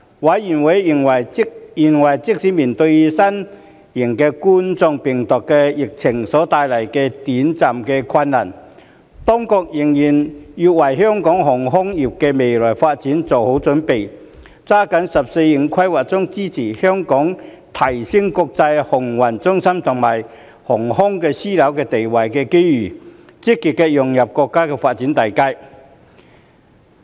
委員認為即使面對新型冠狀病毒疫情所帶來的短期困難，當局仍然要為香港航空業的未來發展做好準備，抓緊"十四五"規劃中支持香港提升國際航運中心和航空樞紐地位的機遇，積極融入國家發展大局。